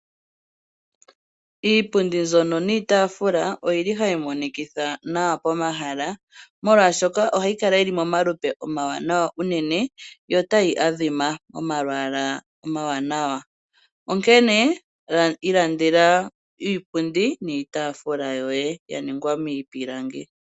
Iipundu mboka niitafula oyili hayi monikitha nawa pomahala . Molwashoka ohayi kala yili momalupe omawanawa uunene yo tayi adhima omalwalwa omawanawa. Onkene ilandela iipundi niitafula yoye yaningwa miipilangi.